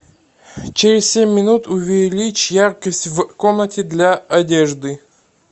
через семь минут увеличь яркость в комнате для одежды